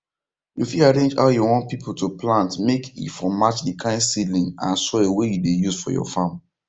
you fit arrange how you want pipu to plant make e for match the kind seedling and soil wey you dey use for your farm